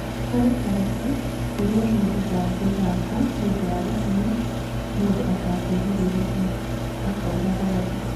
" Harĩ haritũ kũĩrwo mũndũ ndangithaka nĩũndũ wa itũmi mũndũ atangĩgirĩrĩria, " akauga Rabe.